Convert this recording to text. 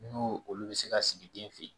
N'o olu bɛ se ka sigi den fɛ yen